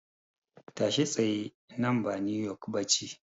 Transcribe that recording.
Tashi tsaye, nan ba New York ba ce.